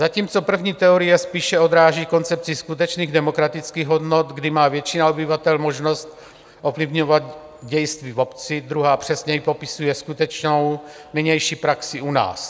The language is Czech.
Zatímco první teorie spíše odráží koncepci skutečných demokratických hodnot, kdy má většina obyvatel možnost ovlivňovat dějství v obci, druhá přesněji popisuje skutečnou nynější praxi u nás.